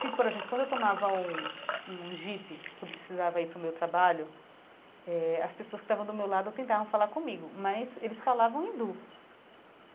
Se, por exemplo, quando eu tomava um um jeep que eu precisava ir para o meu trabalho eh, as pessoas que estavam do meu lado tentavam falar comigo, mas eles falavam hindu.